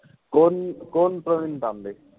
कोण-कोण Praveen Tambe.